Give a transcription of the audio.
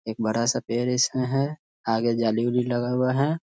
एक बड़ा सा पेड़ इसमें है। आगे जाली - उली लगा हुआ है।